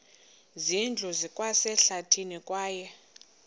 zindlu zikwasehlathini kwaye